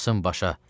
Çıxsın başa.